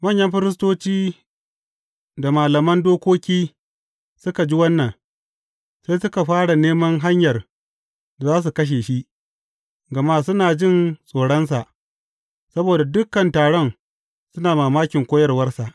Manyan firistoci da malaman dokoki suka ji wannan, sai suka fara neman hanyar da za su kashe shi, gama suna jin tsoronsa, saboda dukan taron suna mamakin koyarwarsa.